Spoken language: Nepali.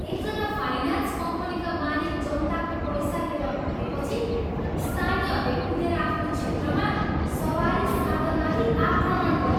एकजा फाइनान्स कम्पनीका मालिक जनताको पैसा लिएर भागेपछि स्थानीयहरूले कुदेर आफ्नो क्षेत्रमा सवारी साधनमाथि आक्रमण गरे।